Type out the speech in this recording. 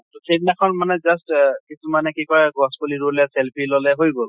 তʼ সেই দিনাখন মানে just কিছুমানে কি কৰে গছ পুলি ৰোলে, selfie লʼলে হৈ গʼল।